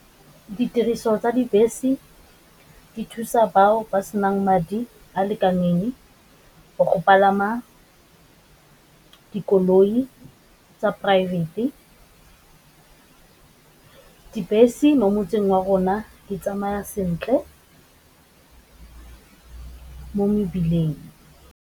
Ditiriso tsa dibese di thusa bao ba senang madi a a lekaneng, go palama dikoloi poraefete. Dibese mo motseng wa rona di tsamaya sentle mo mebileng.